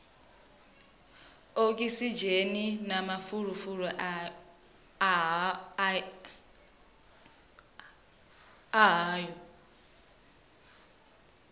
okisidzheni na mafulufulu a yaho